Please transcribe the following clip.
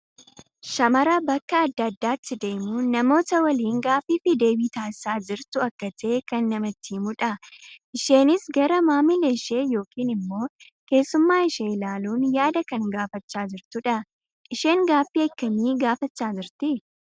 Shamara bakka addaa addaatti deemuun namoota waliin gaaffii fi deebii taasisaa jirtu akka tahe kan namatti himuu dha. Isheenis gara maamila ishee yookiin immoo keessummaa ishee ilaaluun yaada kan gaafachaa jirtuu dha. Isheen gaaffii akkamii gaafachaa jirti?